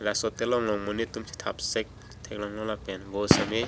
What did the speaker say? laso telong long monit tum chethap sek thek long lo vo sitame--